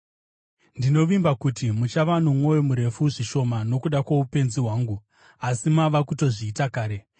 Ndinovimba kuti muchava nomwoyo murefu zvishoma nokuda kwoupenzi hwangu; asi mava kutozviita kare.